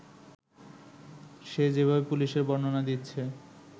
সে যেভাবে পুলিশের বর্ণনা দিচ্ছে